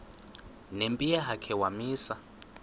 nempi yakhe wamisa